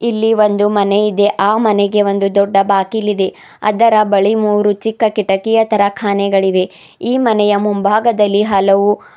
ಇಲ್ಲಿ ಒಂದು ಮನೆ ಇದೆ ಆ ಮನೆಗೆ ಒಂದು ದೊಡ್ಡ ಬಾಗಿಲಿದೆ ಅದರ ಬಳಿ ಮೂರು ಚಿಕ್ಕ ಕಿಟಕಿಯ ತರ ಕಾನೆಗಳು ಇದೆ ಈ ಮನೆಯ ಮುಂಭಾಗದಲ್ಲಿ ಹಲವು --